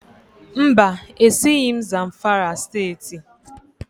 Mba, esighị m Zamfara Steeti